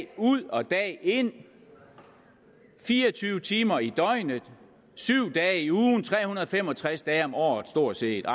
ud og dag ind fire og tyve timer i døgnet syv dage om ugen tre hundrede og fem og tres dage om året stort set ah